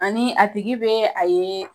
Ani a tigi bɛ a ye